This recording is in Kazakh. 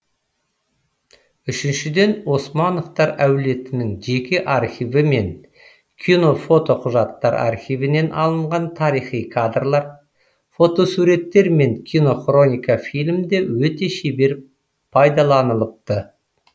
үшіншіден османовтар әулетінің жеке архиві мен кинофотоқұжаттар архивінен алынған тарихи кадрлар фотосуреттер мен кинохроника фильмде өте шебер пайдаланылыпты